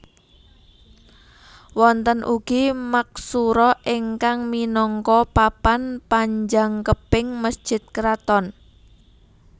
Wonten ugi maksura ingkang minangka papan panjangkeping mesjid kraton